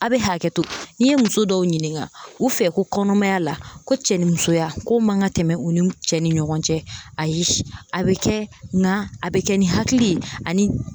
A' bɛ hakɛto n'i ye muso dɔw ɲininka u fɛ ko kɔnɔmaya la ko cɛ ni musoya ko man ka tɛmɛ u ni cɛ ni ɲɔgɔn cɛ, ayi a bɛ kɛ nga a bɛ kɛ ni hakili ye ani